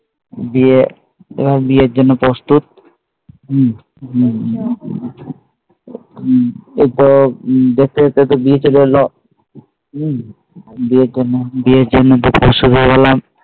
বিয়ে ওরা বিয়ের জন্য প্রস্তুত ওর তো দেখতে দেখতে বিয়ে চলে এলো বিয়ের জন্য বিয়ের জন্য প্রস্তুত শুরু হয় গেলাম